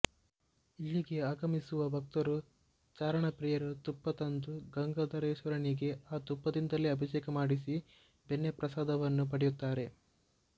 ಇಲ್ಲಿಗೆ ಆಗಮಿಸುವ ಭಕ್ತರು ಚಾರಣಪ್ರಿಯರು ತುಪ್ಪ ತಂದು ಗಾಂಗಾಧರೇಶ್ವರನಿಗೆ ಆ ತುಪ್ಪದಿಂದಲೇ ಅಭಿಷೇಕ ಮಾಡಿಸಿ ಬೆಣ್ಣೆ ಪ್ರಸಾದವನ್ನು ಪಡೆಯುತ್ತಾರೆ